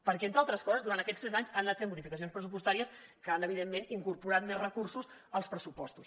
perquè entre altres coses durant aquests tres anys han anat fent modificacions pressupostàries que han evidentment incorporat més recursos als pressupostos